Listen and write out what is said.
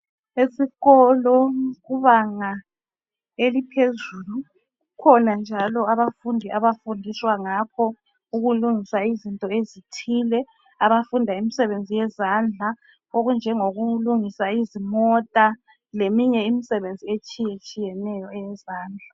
Esikolo kubanga eliphezulu, kukhona njalo abafundi abafundiswa ngakho ukulungisa izinto ezithile. Abafunda imsebenzi yezandla okunjengokulungisa izimota leminye imisebenzi etshiyetshiyeneyo eyezandla.